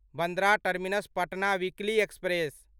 Bandra terminus Patna weekly express